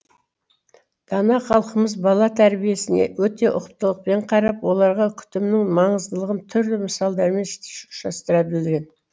дана халқымыз бала тәрбиесіне өте ұқыптылықпен қарап оларға күтімнің маңыздылығын түрлі мысалдармен ұштастыра білген